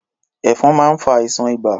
Ẹ̀fọn máa ń fa àìsàn ibà.